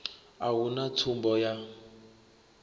a hu na tsumbo ya